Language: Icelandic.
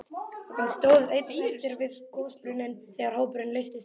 Hann stóð einn eftir við gosbrunninn þegar hópurinn leystist upp.